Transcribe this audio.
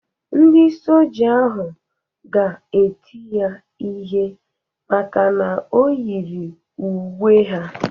Ndị Soja ahụ ga-eti ya ihe maka na o yiri uwe ha.